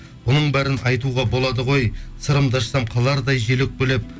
бұның бәрін айтуға болады ғой сырымды ашсам қалардай жел өкпелеп